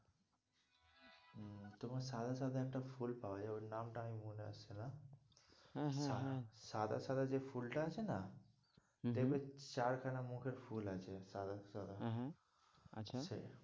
তোমার সাদা সাদা একটা ফুল পাওয়া যাই ওই নামটা আমি মনে আসছে না হ্যাঁ, হ্যাঁ, হ্যাঁ সাদা সাদা যে ফুলটা আছে না হম হম দেখবে চারখানা মুখের ফুল আছে সাদা সাদা হ্যাঁ, হ্যাঁ আচ্ছা আছে,